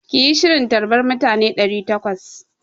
Ki yi shirin tarbar mutane ɗari takwas!